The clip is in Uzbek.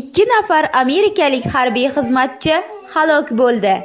ikki nafar amerikalik harbiy xizmatchi halok bo‘ldi.